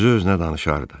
Özü-özünə danışardı.